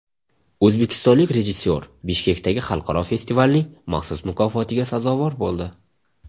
O‘zbekistonlik rejissyor Bishkekdagi xalqaro festivalning maxsus mukofotiga sazovor bo‘ldi.